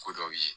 Ko dɔw ye